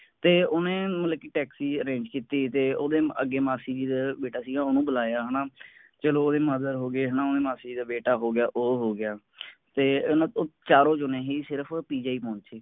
ਤੇ ਓਹਨੇ ਮਤਲਬ ਕਿ ਟੈਕਸੀ ਦਾ ਪ੍ਰਬੰਧ ਕਰੋਕੀਤੀ ਤੇ ਓਹਦੇ ਅੱਗੇ ਮਾਸੀ ਜੀ ਦਾ ਬੀਟਾ ਸੀਗਾ ਓਹਨੂੰ ਬੁਲਾਇਆ ਹੈ ਨਾ ਚਲੋ ਓਹਦੇ ਮਾਂ ਹੋਗੇ ਹੈ ਨਾ ਓਹਦੇ ਮਾਸੀ ਜੀ ਦਾ ਬੀਟਾ ਹੋ ਗਿਆ ਉਹ ਹੋ ਗਿਆ ਤੇ ਇਹ ਨਾ ਚਾਰੋਂ ਜਾਣੇ ਸੀ ਸਿਰਫ ਪਹੁੰਚੇ